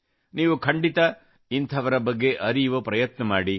ನೀವು ಖಂಡಿತ ಇಂಥವರ ಬಗ್ಗೆ ಅರಿಯುವ ಪ್ರಯತ್ನ ಮಾಡಿ